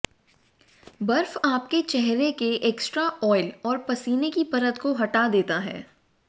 बर्फ आपके चेहरे के एक्स्ट्रा आयल और पसीने की परत को हटा देता है